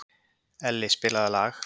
Elli, spilaðu lag.